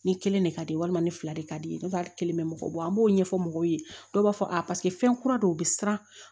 Ni kelen de ka di ye walima ni fila de ka di ye a kelen bɛ mɔgɔ bɔ an b'o ɲɛfɔ mɔgɔw ye dɔw b'a fɔ a paseke fɛn kura don u bɛ siran